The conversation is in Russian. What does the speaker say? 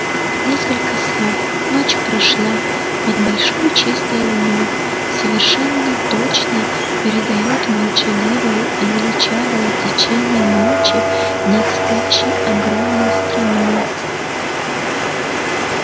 несколько слов ночь прошла под большой чистой луной совершенно точно передают молчаливое и величавое течение ночи над спящей огромной страной